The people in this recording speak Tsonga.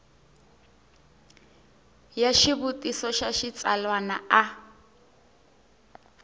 ya xivutiso xa xitsalwana a